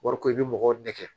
Wariko i bɛ mɔgɔw nɛgɛ